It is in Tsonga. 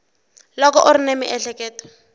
loko u ri ni miehleketo